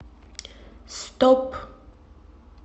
стоп